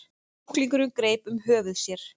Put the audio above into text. Sjúklingurinn greip um höfuð sér.